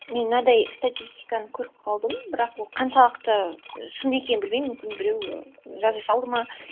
мен мынандай статистиканы көріп қалдым бірақ ол қаншалықты шын екенін білмеймін мүмкін біреу жаза салды ма